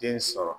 Den sɔrɔ